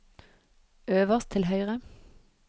øverst til høyre